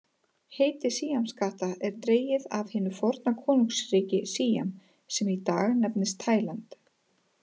Heiti síamskatta er dregið af hinu forna konungsríki Síam sem í dag nefnist Tæland.